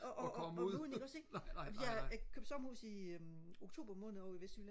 og gå ud i ikke også ikke jeg jeg købte sommerhus i øh oktober måned ovre i vestjylland